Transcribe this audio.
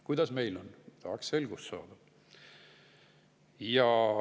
Kuidas meil on, tahaks selgust saada.